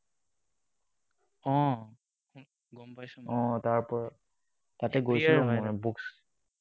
অ, গম পাইছো মই।